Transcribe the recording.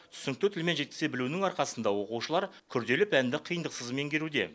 түсінікті тілмен жеткізе білуінің арқасында оқушылар күрделі пәнді қиындықсыз меңгеруде